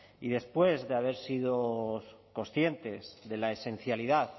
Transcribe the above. y después de haber sido conscientes de la esencialidad